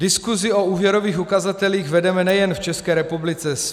Diskusi o úvěrových ukazatelích vedeme nejen v České republice.